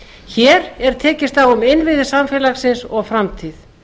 hér er tekist á um innviði samfélagsins og framtíð